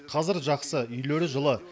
қазір жақсы үйлері жылы